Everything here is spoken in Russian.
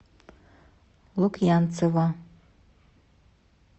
лукьянцева